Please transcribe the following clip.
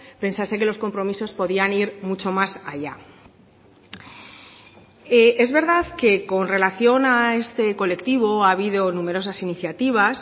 pensase que los compromisos podían ir mucho más allá es verdad que con relación a este colectivo ha habido numerosas iniciativas